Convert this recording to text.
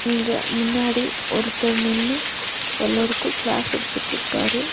இங்க முன்னாடி ஒருத்தர் நின்னு எல்லாருக்கு கிளேஸ் எடுத்துட்ருக்காரு.